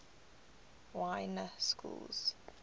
y na schools